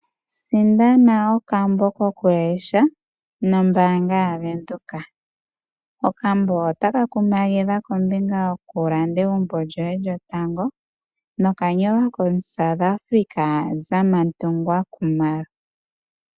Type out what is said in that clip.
Sindana okambo kokulesha nombaanga yaVenduka. Okambo otaka kumagidha kombinga yoku landa egumbo lyoye lyotango, noka nyolwa komuSouth Africa Zamantungwa Khumalo.